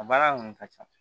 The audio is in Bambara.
A baara kɔni ka ca